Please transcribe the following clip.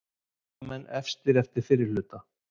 Eyjamenn efstir eftir fyrri hluta